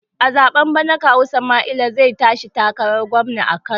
A zaɓen bana kawu sumaila zai tashi takarar gwamna a kano